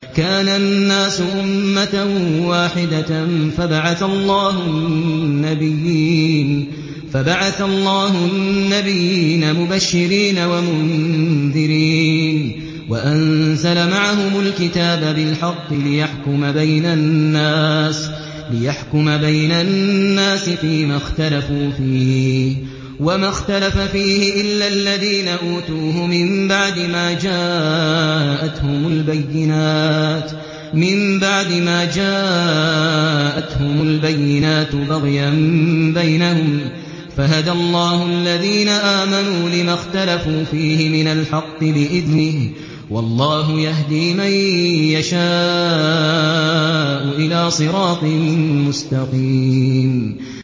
كَانَ النَّاسُ أُمَّةً وَاحِدَةً فَبَعَثَ اللَّهُ النَّبِيِّينَ مُبَشِّرِينَ وَمُنذِرِينَ وَأَنزَلَ مَعَهُمُ الْكِتَابَ بِالْحَقِّ لِيَحْكُمَ بَيْنَ النَّاسِ فِيمَا اخْتَلَفُوا فِيهِ ۚ وَمَا اخْتَلَفَ فِيهِ إِلَّا الَّذِينَ أُوتُوهُ مِن بَعْدِ مَا جَاءَتْهُمُ الْبَيِّنَاتُ بَغْيًا بَيْنَهُمْ ۖ فَهَدَى اللَّهُ الَّذِينَ آمَنُوا لِمَا اخْتَلَفُوا فِيهِ مِنَ الْحَقِّ بِإِذْنِهِ ۗ وَاللَّهُ يَهْدِي مَن يَشَاءُ إِلَىٰ صِرَاطٍ مُّسْتَقِيمٍ